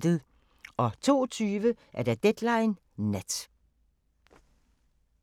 02:20: Deadline Nat